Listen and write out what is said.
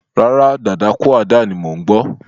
Rárá, dadakúàdà ni mò ń gbọ́.